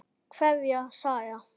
Kveðja, Saga.